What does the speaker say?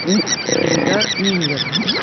ильдар миллер